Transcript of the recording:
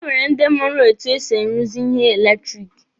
E nwere ndi mụrụ etu e si aruzi ihe eletiriki.